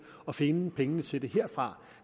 og finde pengene til det herfra